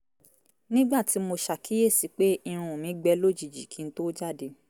nígbà tí mo ṣàkíyèsi pé irun mí gbẹ lójijì kí n tó jàde